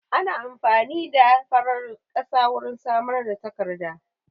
Ana amfani da farar ƙasa wurin samar da takarda